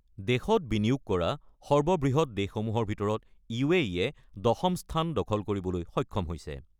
দেশত বিনিয়োগ কৰা সৰ্ববৃহৎ দেশসমূহৰ ভিতৰত য়ে দশম স্থান দখল কৰিবলৈ সক্ষম হৈছে।